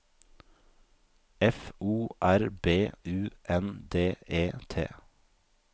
F O R B U N D E T